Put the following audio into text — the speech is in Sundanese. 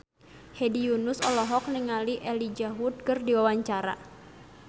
Hedi Yunus olohok ningali Elijah Wood keur diwawancara